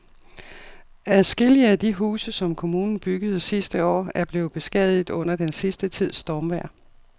Adskillige af de huse, som kommunen byggede sidste år, er blevet beskadiget under den sidste tids stormvejr.